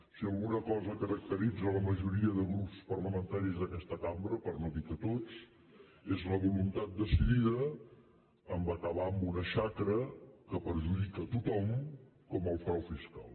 si alguna cosa caracteritza la majoria de grups parlamentaris d’aquesta cambra per no dir tots és la voluntat decidida d’acabar amb una xacra que perjudica tothom com el frau fiscal